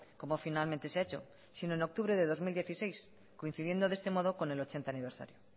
como finalmente se ha hecho sino en octubre de dos mil dieciséis coincidiendo de este modo con el ochenta aniversario